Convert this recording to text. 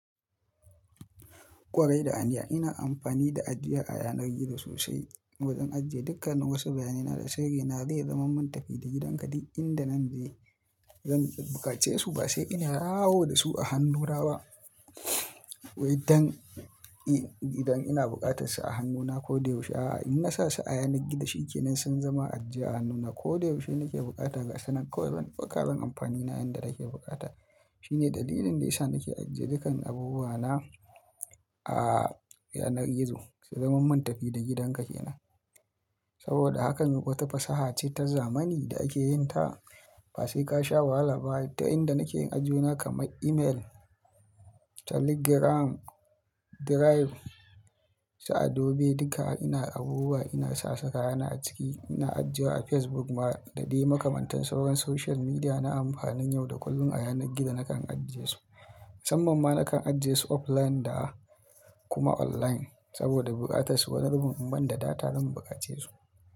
Ƙwarai da hanya, ina amfani da ajiya a yanar gizo sosai. Wajen ajiye dukkan wasu bayyanina da sirri na. Zai zama mun tafi da gidanka duk inda nan zai. Zan buƙace su ba sai ina yawo da su a hannuna ba. Waidan, idan ina buƙatar su a hannuna ko da yaushe, a'a. In na sa su a yanar gizo shi kenan sun zama ajiya a hannuna ko da yaushe nake bukata gasu nan. Kawai zanyi amfanina yanda nake bukata. Shine dalilin da yasa nake ajiye dukkan abubuwana a yanar gizo. Sai zaman mun tafi da gidanka kenan. Saboda hakan wata fasaha ce ta zamani da ake yin ta. Ba sai ka sha wahala ba ta inda nake yin ajiyewa kamar email, telegram, drive, sa adobe duka ina abubuwa ina sa saka kayana a ciki. Ina ajiya a Facebook ma da dai makamantan sauran social media na amfanin yau da kullum a yanar gizo nakan ajiye su. Musamman ma nakan ajiye su offline da kuma online saboda buƙatar su wani zubin in ban da data zan buƙace su.